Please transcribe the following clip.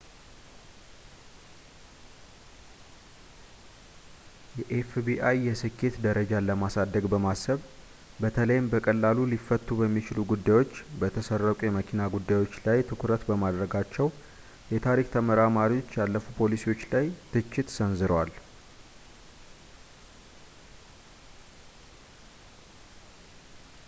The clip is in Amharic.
የኤፍቢአይ የስኬት ደረጃን ለማሳደግ በማሰብ በተለይም በቀላሉ ሊፈቱ በሚችሉ ጉዳዮች በተሰረቁ የመኪና ጉዳዮች ላይ ትኩረት በማድረጋቸው የታሪክ ተመራማሪዎች ያለፉ ፖሊሲዎች ላይ ትችት ሰንዝረዋል